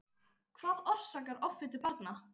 Hvað orsakar offitu barna?